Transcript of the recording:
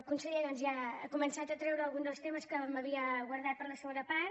conseller doncs ja ha començat a treure algun dels temes que m’havia guardat per a la segona part